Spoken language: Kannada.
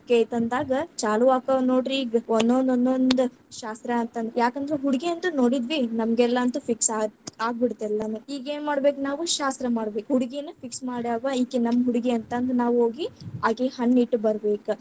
ಒಪ್ಗೆ ಐತಿ ಅಂದಾಗ ಚಾಲು ಆಕ್ಕಾವ್‌ ನೋಡ್ರಿ ಈಗ, ಒಂದೊಂದ್‌ ಒಂದೊಂದ್‌ ಶಾಸ್ತ್ರ ಅಂತ ಅಂದ. ಯಾಕಂದ್ರ ಹುಡುಗಿ ಅಂತೂ ನೋಡಿದ್ವಿ. ನಮಗೆಲ್ಲಾ ಅಂತೂ fix ಆತ್ ಆಗ್ಬಿಡ್ತ ಎಲ್ಲಾನು. ಈಗ ಏನ್‌ ಮಾಡ್ಬೇಕ ನಾವು ಶಾಸ್ತ್ರ ಮಾಡ್ಬೇಕ್. ಹುಡುಗಿನ್ನ fix ಮಾಡ್ಯಾದ್ವಾ ಈಕಿ ನಮ್ ಹುಡುಗಿ ಅಂತ ನಾವು ಹೋಗಿ ಅಕಿಗ ಹಣ್ಣ್ ಇಟ್ಟ್ ಬರಬೇಕ.